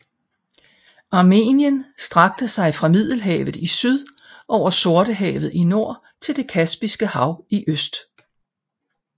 Armenien strakte sig fra Middelhavet i syd over Sortehavet i nord til det Kaspiske Hav i øst